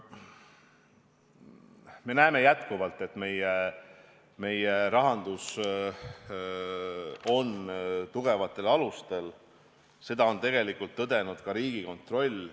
Me näeme, et meie rahandus on endiselt tugevatel alustel, seda on tegelikult tõdenud ka Riigikontroll.